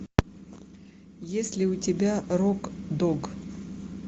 есть ли у тебя рок дог